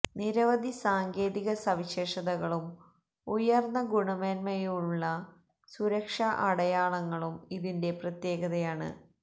നിരവധി സാങ്കേതിക സവിശേഷതകളും ഉയർന്ന ഗുണമേന്മയുള്ള സുരക്ഷാ അടയാളങ്ങളും ഇതിന്റെ പ്രത്യേകതയാണ്